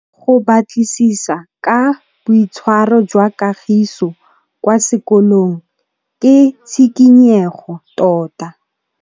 Go batlisisa ka boitshwaro jwa Kagiso kwa sekolong ke tshikinyêgô tota.